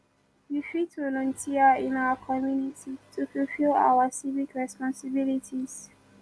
we fit volunteer in our community to fulfill our civic responsibilities